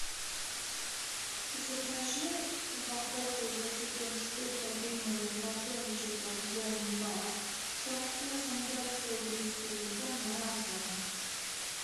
закажи упаковку из двадцати штук протеиновых батончиков бомбар со вкусом датского бисквита на озон